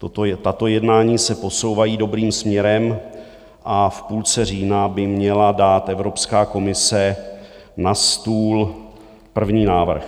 Tato jednání se posouvají dobrým směrem a v půlce října by měla dát Evropská komise na stůl první návrh.